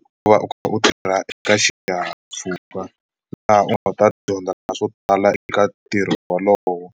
u va u kha u tirha eka xihahampfhuka laha u nga ta dyondza swo tala eka ntirho wolowo.